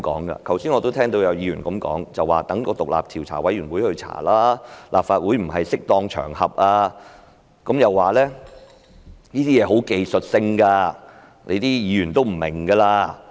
我剛才聽到有議員一直說應交由獨立調查委員會調查，立法會不是適當場合，又說這些事情十分技術性，議員不會明白。